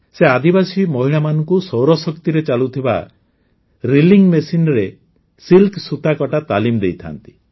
ସେ ଆଦିବାସୀ ମହିଳାମାନଙ୍କୁ ସୌରଶକ୍ତିରେ ଚାଲୁଥିବା ରିଲିଙ୍ଗ୍ ମେସିନରେ ସିଲ୍କ ସୂତାକଟା ତାଲିମ ଦେଇଥାନ୍ତି